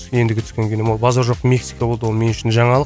ендігі түскен кином ол базар жоқ мексика болды ол мен үшін жаңалық